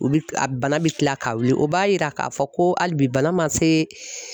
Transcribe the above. U bi a bana bi kila ka wuli o b'a yira k'a fɔ ko hali bi bana ma se